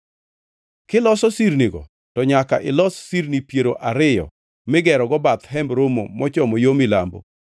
Kiloso sirnigo, to nyaka ilos sirni piero ariyo migerogo bath Hemb Romo mochomo yo milambo